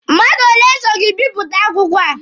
Mmadụ ole so gị bipụta akwụkwọ a?